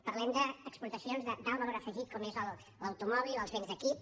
parlem d’exportacions d’alt valor afegit com és l’automòbil els béns d’equip